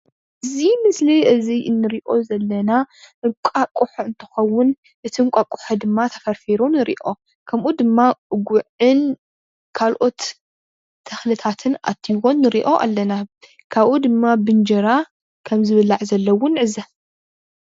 እዚ ምስሊ እዚ እንሪኦ ዘለና እንቃቆሖ እንትከዉን እቲ እንቃቆሖ ድማ ተፈርፊሩ ንሪኦ ካምኡ ድማ ጉዕን ካልኦት ተክልታትን አቲዎ ንሪኦ አለና፡፡ ካቡኡ ድማ ብእንጀራ ከም ዝብላዕ ዘሎ እዉን ንዕዘብ፡፡